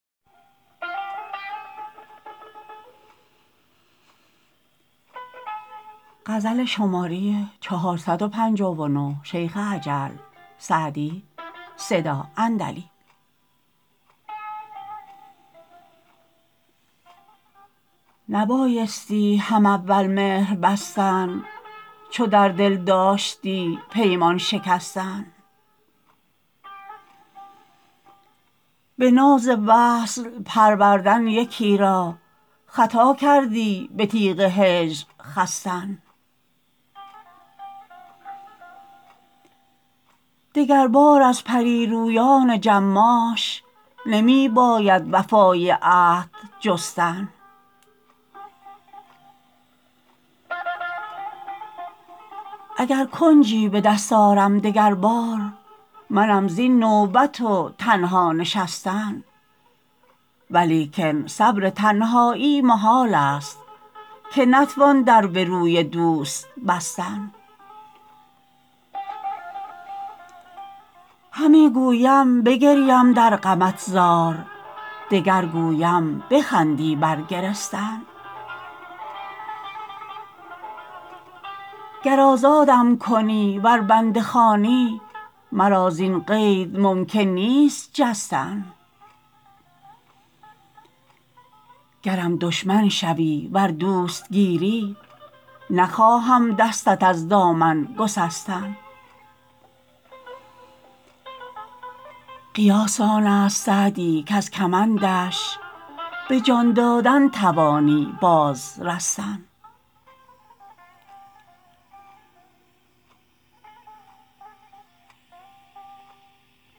نبایستی هم اول مهر بستن چو در دل داشتی پیمان شکستن به ناز وصل پروردن یکی را خطا کردی به تیغ هجر خستن دگربار از پری رویان جماش نمی باید وفای عهد جستن اگر کنجی به دست آرم دگر بار منم زین نوبت و تنها نشستن ولیکن صبر تنهایی محال است که نتوان در به روی دوست بستن همی گویم بگریم در غمت زار دگر گویم بخندی بر گرستن گر آزادم کنی ور بنده خوانی مرا زین قید ممکن نیست جستن گرم دشمن شوی ور دوست گیری نخواهم دستت از دامن گسستن قیاس آن است سعدی کز کمندش به جان دادن توانی باز رستن